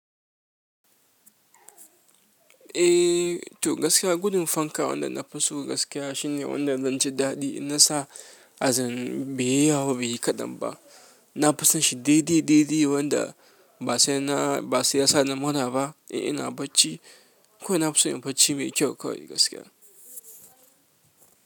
Eh, to gaskiya gudun fanka wanda na fi so gaskiya shine wanda zanji daɗi. In na sa azarin baiyi yawo ba, baiyi kaɗan ba. Na fi son shi daidai, daidai wanda ba sai na, ba siyasa na mura ba. Eh, ina bacci. Kawai na fi son in bacci mai kyau kawai gaskiya.